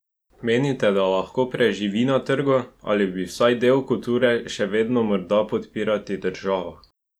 Menite, da lahko preživi na trgu, ali bi vsaj del kulture še vedno morda podpirati država?